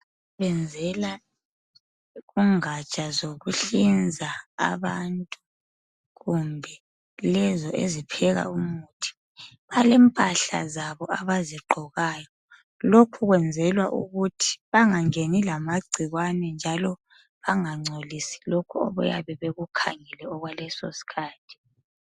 benzela kungatsha zokuhlinza abantu kumbe lezo ezipheka umuthi balempahla zabo abazigqokayo lokhu kwenzelwa ukuthi bangangeni lamagcikwane njalo bangancolisi lokhu abayabe bekukhangele okwaleso sikhathi